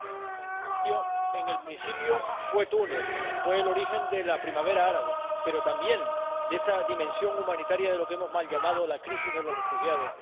Señora Presidenta, en el principio fue Túnez el origen de la Primavera Árabe, pero también de esa dimensión humanitaria de lo que hemos mal llamado la crisis de los refugiados.